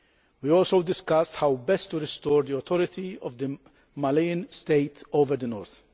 We also discussed how best to restore the authority of the Malian state over the north.